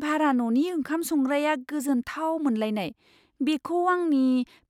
भारा न'नि ओंखाम संग्राया गोजोनथाव मोनलायनाय बेखौ आंनि